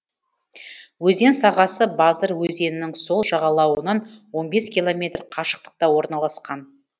өзен сағасы базыр өзенінің сол жағалауынан он бес километр қашықтықта орналасқан